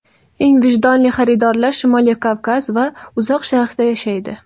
Eng vijdonli xaridorlar Shimoliy Kavkaz va Uzoq Sharqda yashaydi.